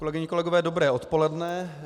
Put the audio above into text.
Kolegyně, kolegové, dobré odpoledne.